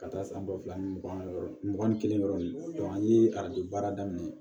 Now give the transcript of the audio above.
Ka taa san ba fila ni mugan ni mugan ni kelen yɔrɔ nin an ye arajo baara daminɛ